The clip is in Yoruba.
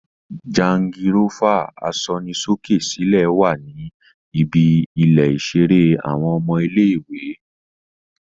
Jangirófà asọnisókè-sílẹ̀ wá ní ibi ilè iṣere àwọn ọmọ ilé-ìwé